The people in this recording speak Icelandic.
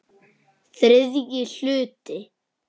ÞRIðJI HLUTI